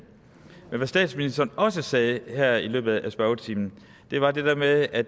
men hvad statsministeren også sagde her i løbet af spørgetimen var det der med at